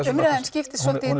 umræðan skiptist svona